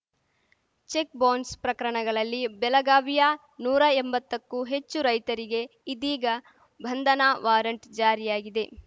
cheque bounce ಪ್ರಕರಣಗಳಲ್ಲಿ ಬೆಲಗಾವಿಯ ನೂರಾ ಎಂಬತ್ತಕ್ಕೂ ಹೆಚ್ಚು ರೈತರಿಗೆ ಇದೀಗ ಬಂಧನ ವಾರಂಟ್‌ ಜಾರಿಯಾಗಿದೆ